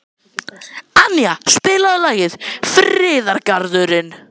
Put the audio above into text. Annía, spilaðu lagið „Friðargarðurinn“.